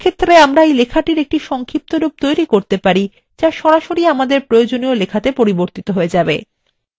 এক্ষেত্রে আমরা এই লেখাটির সংক্ষিপ্তরূপ তৈরী করতে পারি যা সরাসরি আমাদের প্রয়োজনীয় লেখাতে পরিবর্তিত হয়ে যাবে